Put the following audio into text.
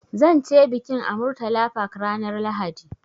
Zan ce bikin a Murtala Park ranar Lahadi.